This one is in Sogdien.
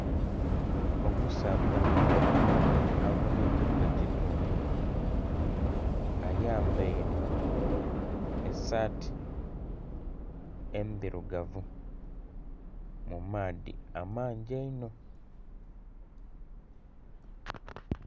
Omusaadha aboneikeku ekitundu ayambaire esaati endhirugavu mumaadhi amangi einho.